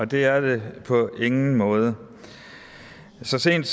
det er det på ingen måde så sent